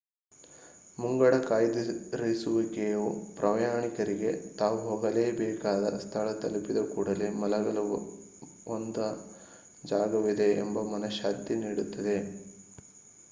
ಮುಂಗಡ ಕಾಯ್ದಿರಿಸುವಿಕೆಯು ಪ್ರಯಾಣಿಕರಿಗೆ ತಾವು ಹೋಗಬೇಕಾದ ಸ್ಥಳ ತಲುಪಿದ ಕೂಡಲೇ ಮಲಗಲು ಒಂದ ಜಾಗವಿದೆ ಎಂಬ ಮನಃಶಾಂತಿ ನೀಡುತ್ತದೆ